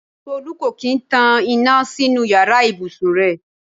Tolú kò kín ń tan iná sínú yàrá ìbùsùn rẹ̀.